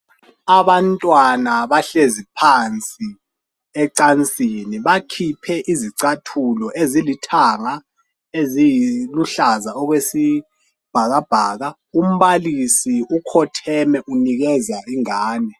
Abantwana bahlezi phansi ecansini bakhiphe izicathulo ezilithanga, eliluhlaza okwesibhakabhaka. Umbalisi ukhotheme unikeza ingane.